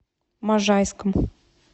можайском